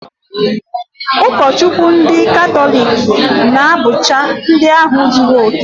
Ụkọchukwu ndị katọlik na-abụcha ndị ahụ zuru okè